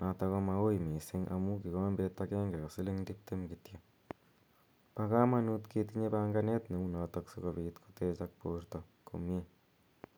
notok ko maui missing' amu kikombet agenge ko siling' tiptem kityo. Pa kamanut ketinye panganet neu notok asikopit kotegak porto komye.